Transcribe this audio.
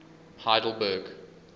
heidelberg